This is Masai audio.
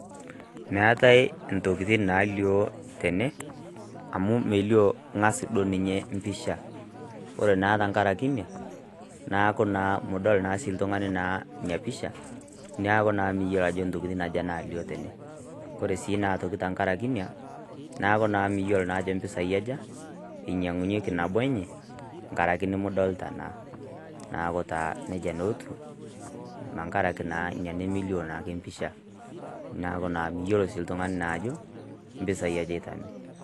Meetae intokitin naalioo tene amu melioo duoo ngass ninye pisha kore naa tenkaraki inia neeku midol sii ntoki melioo neeku miyiolou ajo nyoo natii ene, ore naadii tenkaraki inia miyiolou naa ajo pisaai aja inyangunyeki nabo enye tenkaraki melioo naa neeku nejia naa etiu nkaraki miyiolo naa oltungani ajo nyoo inia, neekuu miyiolou naa aka ropiyiani.